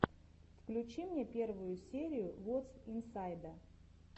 включи мне первую серию вотс инсайда